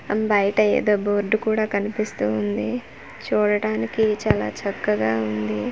అం బయట ఏదో బోర్డ్ కూడా కనిపిస్తూ ఉంది చూడటానికి చాలా చక్కగా ఉంది.